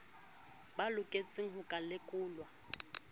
ba loketseng ho ka lekolwa